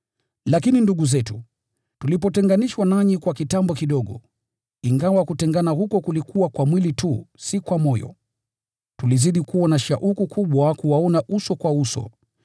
Lakini ndugu zetu, tulipotenganishwa nanyi kwa kitambo kidogo (ingawa kutengana huko kulikuwa kwa mwili tu, si kwa moyo), tulizidi kuwa na shauku kubwa kuwaona uso kwa uso.